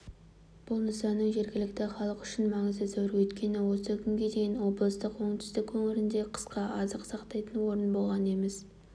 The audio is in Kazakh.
бұл нысанның жергілікті халық үшін маңызы зор өйткені осы күнге дейін облыстың оңтүстік өңірінде қысқа азық сақтайтын орын болған емес